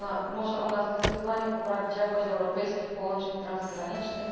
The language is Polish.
Może ona zdecydowanie poprawić jakość europejskich połączeń transgranicznych.